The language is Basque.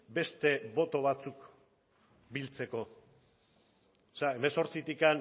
beste boto batzuk biltzeko hemezortzitik